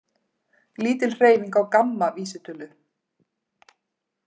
Lítil hreyfing á GAMMA vísitölu